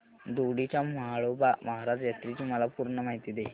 दोडी च्या म्हाळोबा महाराज यात्रेची मला पूर्ण माहिती दे